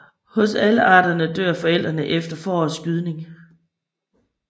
Hos alle arterne dør forældrene efter forårets gydning